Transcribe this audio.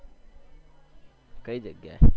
કઈ જગ્યા એ